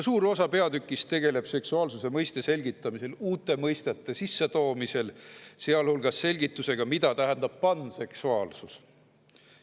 Suur osa peatükist tegeleb uute mõistete sissetoomisega ja seksuaalsuse mõiste selgitamisega, sealhulgas selgitusega, mida tähendab panseksuaalsus.